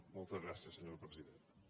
moltes gràcies senyora presidenta